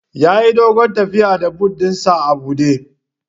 Yayi doguwar tafiya da but ɗin sa a buɗe